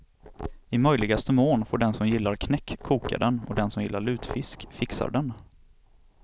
I möjligaste mån får den som gillar knäck koka den och den som gillar lutfisk fixar den.